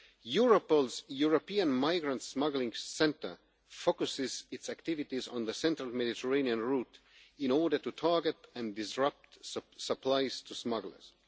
Europol's European Migrant Smuggling Centre focuses its activities on the central Mediterranean route in order to target and disrupt supplies to smugglers.